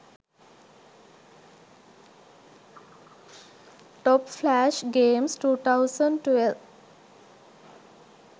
top flash games 2012